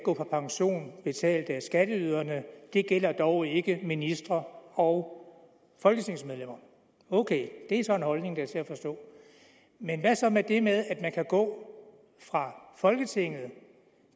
gå på pension betalt af skatteyderne det gælder dog ikke ministre og folketingsmedlemmer ok det er så en holdning der er til at forstå men hvad så med det med at man kan gå fra folketinget